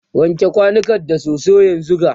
wanke kwanukan da soso yanzunga!